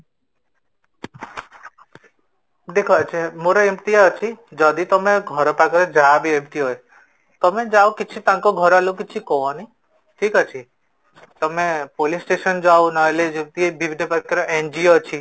ଦେଖ ଅଜୟ ମୋରୋ ଏମିତି ଅଛି ତମେ ଘର ପାଖରେ ଯାହାବି , ତମେ ଯାଅ ତାଙ୍କ ଘର ଲୋକ ମାନଙ୍କୁ କିଛିବି କୁହନି, ଠିକ ଅଛି, ତମେ police station ଯାଅ ନହେଲେ ଯିଏ ବିଭିର୍ନ ପ୍ରକାରର NGO ଅଛି